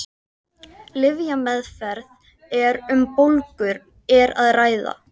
Lyfjameðferð ef um bólgur er að ræða.